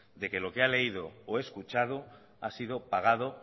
de que lo que ha leído o escuchado ha sido pagado